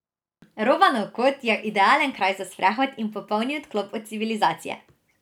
Robanov kot je idealen kraj za sprehod in popolni odklop od civilizacije.